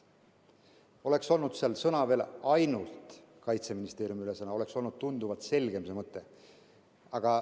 Oleks seal olnud veel sõna "ainult", st "ainult Kaitseministeeriumi ülesanne", oleks see mõte olnud tunduvalt selgem.